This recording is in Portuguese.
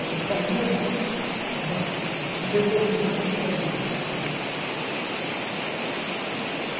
Ela saía de uma velocidade tremenda.